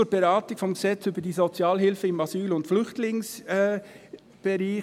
Nun zur Beratung des SAFG, das wir in der GSoK beraten haben.